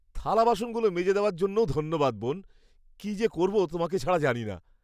থালা বাসনগুলো মেজে দেওয়ার জন্যও ধন্যবাদ, বোন। কী যে করবো তোমাকে ছাড়া জানি না।